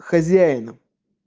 хозяина